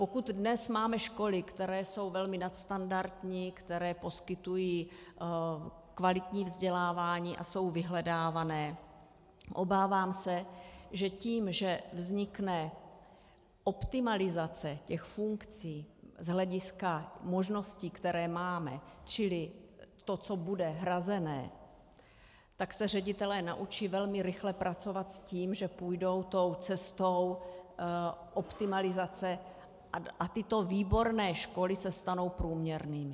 Pokud dnes máme školy, které jsou velmi nadstandardní, které poskytují kvalitní vzdělávání a jsou vyhledávané, obávám se, že tím, že vznikne optimalizace těch funkcí z hlediska možností, které máme, čili to, co bude hrazené, tak se ředitelé naučí velmi rychle pracovat s tím, že půjdou tou cestou optimalizace a tyto výborné školy se stanou průměrnými.